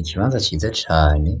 Ikibanza ciza cane,